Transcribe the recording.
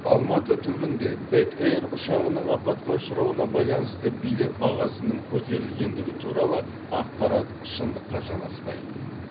алматы түбінде бек эйр ұшағының апатқа ұшырауына байланысты билет бағасының көтерілгендігі туралы ақпарат шындыққа жанаспайды